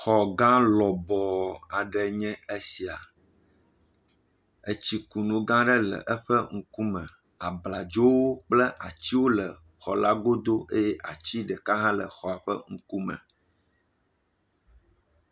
Xɔ gã lɔbɔɔ aɖe nye esi, etsikunu gã aɖe le eƒe ŋkume, abladzowo kple atiwo le xɔ la godo eye ati ɖeka hã le xɔla ƒe ŋkume.